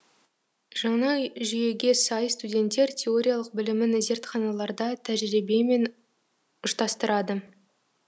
жаңа жүйеге сай студенттер теориялық білімін зертханаларда тәжірибемен ұштастырады